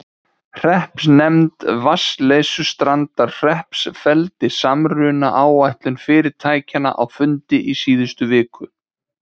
Hreppsnefnd Vatnsleysustrandarhrepps felldi samrunaáætlun fyrirtækjanna á fundi í síðustu viku.